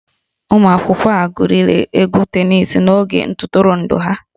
Ụmụ akwụkwọ a gwuriri egwu tenisi n'oge ntụrụndụ ha